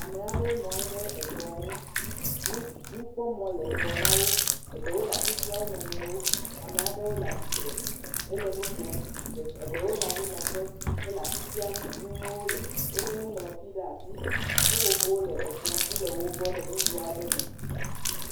Ame aɖewo nɔ anyi ɖe ekplɔ ŋu, nukpɔmɔ le ŋgɔ na wo, eɖewo le asi fiam wo nɔ nɔewo, amea ɖewo le atsitre hele nu kom, eɖewo le anyinɔƒe, hele asi fiam nu, wolé nuŋlɔti ɖe asi, seƒoƒowo le ekplɔ dzi le wo gbɔ le nugo aɖe me.